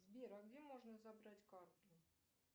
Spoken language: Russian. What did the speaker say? сбер а где можно забрать карту